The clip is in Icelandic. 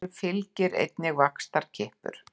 Þessu fylgir einnig vaxtarkippur.